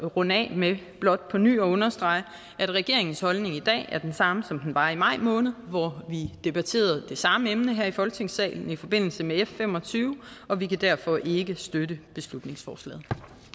runde af med blot på ny at understrege at regeringens holdning i dag er den samme som den var i maj måned hvor vi debatterede det samme emne her i folketingssalen i forbindelse med f fem og tyve og vi kan derfor ikke støtte beslutningsforslaget